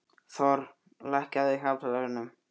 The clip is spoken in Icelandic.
Thor, lækkaðu í hátalaranum.